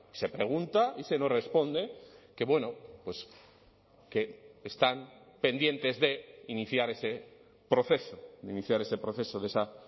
se pregunta y se nos responde que bueno pues que están pendientes de iniciar ese proceso de iniciar ese proceso de esa